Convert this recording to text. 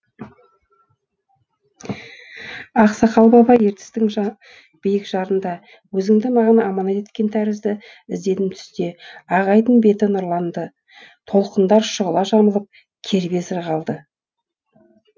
ақсақал баба ертістің биік жарында өзіңді маған аманат еткен тәрізді іздедім түсте ақ айдын беті нұрланды толқындар шұғыла жамылып кербез ырғалды